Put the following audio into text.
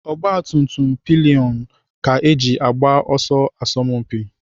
Ogbatumtum pilionụ ka eji agba ọsọ asọmpi.